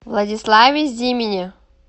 владиславе зимине